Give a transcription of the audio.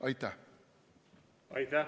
Aitäh!